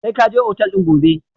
Sai ka je otal din gobe!